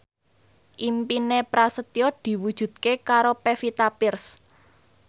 impine Prasetyo diwujudke karo Pevita Pearce